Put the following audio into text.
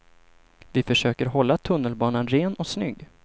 Vi försöker hålla tunnelbanan ren och snygg.